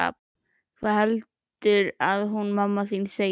Hvað heldurðu að hún mamma þín segi?